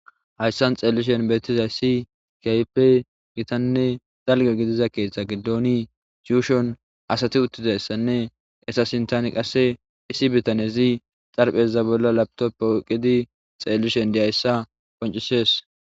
Haysan be'ishin woyko xeelishi qoncizaysi, keehippe gita woyko dalga gidida keetha gidoni asay yuushon uttidaysane eeta sinthan qasse issi bitanezi xarapheza bolla lapitope oykidi xeellishe dizaysa qoncisees.